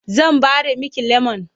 Zan ɓare miki lemon.